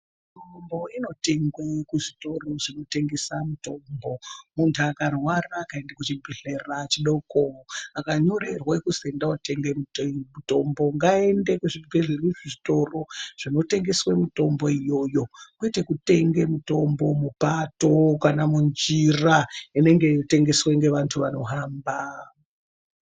Mitombo inotengwe kuzvitoro zvinotengese mutombo muntu akarwara akenda kuchibhlera chidoko, akanyorerwa kuzi endawo tenga mutombo ngaende kuzvitoro zvinotengeswe mitombo iyoyo kwete kutenge mitombo mupato kana munjira inenge yeitengeswe ngeantu anohamba.